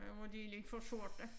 Der hvor de lidt for sorte